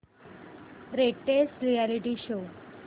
latest reality show